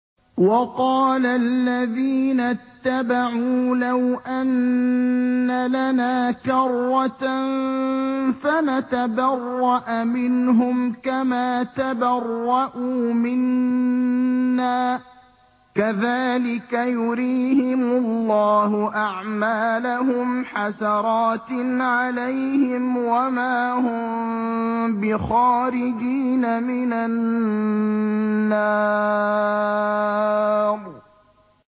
وَقَالَ الَّذِينَ اتَّبَعُوا لَوْ أَنَّ لَنَا كَرَّةً فَنَتَبَرَّأَ مِنْهُمْ كَمَا تَبَرَّءُوا مِنَّا ۗ كَذَٰلِكَ يُرِيهِمُ اللَّهُ أَعْمَالَهُمْ حَسَرَاتٍ عَلَيْهِمْ ۖ وَمَا هُم بِخَارِجِينَ مِنَ النَّارِ